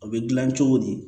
O bɛ dilan cogo di